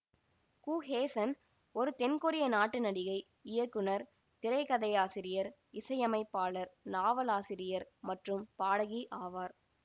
கு ஹேசன் ஒரு தென் கொரிய நாட்டு நடிகை இயக்குனர் திரைக்கதையாசிரியர் இசையமைப்பாளர் நாவலாசிரியர் மற்றும் பாடகி ஆவார்